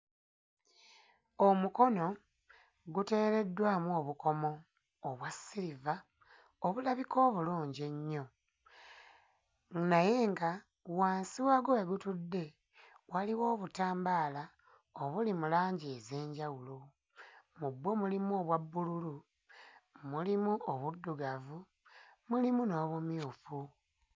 Omukono guteereddwamu obukomo obwa silver obulabika obulungi ennyo, naye nga wansi wagwo we butudde waliwo obutambaala obuli mu langi ez'enjawulo, mu bwo mulimu obwa bbululu, mulimu obuddugavu mulimu n'obumyufu.